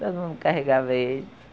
Todo mundo carregava ele.